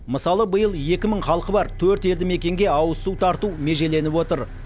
мысалы биыл екі мың халқы бар төрт елді мекенге ауызсу тарту межеленіп отыр